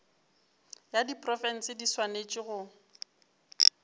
ya diprofense di swanetše go